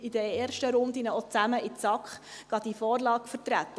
In den ersten Runden gingen wir auch zusammen in die SAK, um die Vorlage zu vertreten.